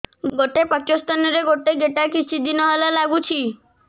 ଗୋଟେ ପଟ ସ୍ତନ ରେ ଗୋଟେ ଗେଟା କିଛି ଦିନ ହେଲା ଲାଗୁଛି